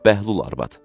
Bəhlul arvad.